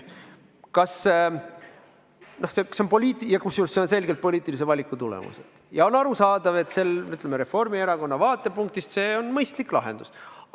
See on selgelt poliitilise valiku tulemus ja on arusaadav, et Reformierakonna vaatepunktist see on mõistlik lahendus.